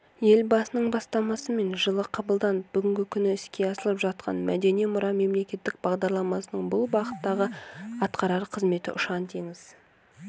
елбасының бастамасымен жылы қабылданып бүгінгі күні іске асырылып жатқан мәдени мұра мемлекеттік бағдарламасының бұл бағыттағы атқарар қызметі ұшан-теңіз